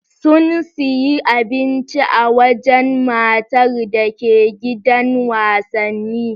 Sun siyi abinci a wajan matar dake gidan wasanni